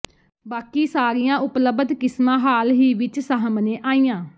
ਬਾਕੀ ਸਾਰੀਆਂ ਉਪਲਬਧ ਕਿਸਮਾਂ ਹਾਲ ਹੀ ਵਿੱਚ ਸਾਹਮਣੇ ਆਈਆਂ